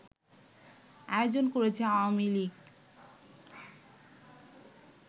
আয়োজন করেছে আওয়ামী লীগ